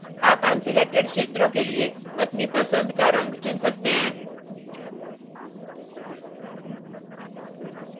आप unselected क्षेत्रों के लिए अपनी पसंद का रंग चुन सकते हैं